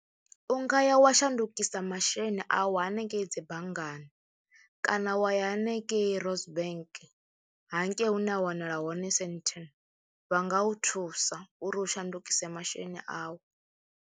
U nga ya wa shandukisa masheleni au hanengei dzi banngani kana wa ya hanengei Rosebank hangei hune a wanala hone Sandton, vha nga u thusa uri u shandukise masheleni au.